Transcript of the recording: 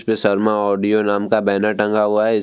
पे शर्मा ऑडियो नाम का बैनर टंगा हुआ है।